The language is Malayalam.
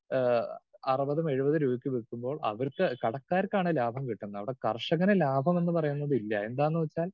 സ്പീക്കർ 2 ആഹ്‌ അറുപതും എഴുപതും രൂപയ്ക്ക് വിൽക്കുമ്പോൾ അവർക്ക് കടക്കാർക്കാണ് ലാഭം കിട്ടുന്നത്. അവിടെ കർഷകന് ലാഭം എന്നു പറയുന്നത് ഇല്ല എന്താന്ന് വെച്ചാൽ